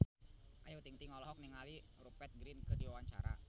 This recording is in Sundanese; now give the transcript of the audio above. Ayu Ting-ting olohok ningali Rupert Grin keur diwawancara